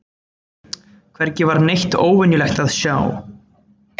Hvergi var neitt óvenjulegt að sjá.